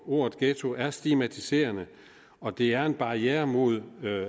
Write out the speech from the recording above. ordet ghetto er stigmatiserende og det er en barriere mod